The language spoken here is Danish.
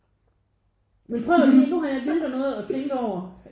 Men prøv lige nu har jeg givet dig noget at tænke over